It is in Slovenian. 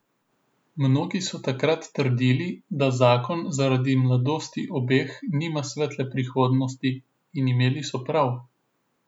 Mnogi so takrat trdili, da zakon zaradi mladosti obeh nima svetle prihodnosti in imeli so prav.